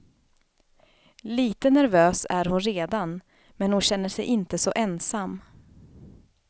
Lite nervös är hon redan, men hon känner sig inte så ensam.